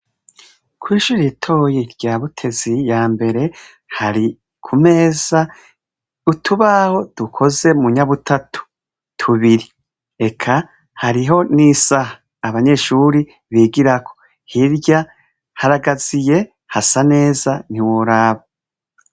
Kw'ishure ritoyi rya Butezi ya mbere hari ku meza utubaho dukoze mu nyabutatu tubiri eka hariho n'isaha abanyeshure bigirako haragaziye hasa neza ntiworaba .